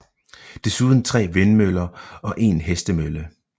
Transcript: Desuden 3 vindmøller og 1 hestemølle